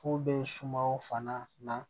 Fu bɛ sumaw fana na